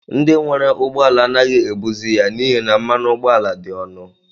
Ndị nwere ụgbọala anaghị ebuzi ya n'ihi na mmanụ ụgbọala dị ọnụ.